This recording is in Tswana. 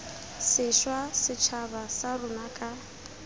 sešwa setšhaba sa rona ka